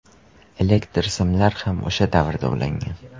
Elektr simlar ham o‘sha davrda ulangan.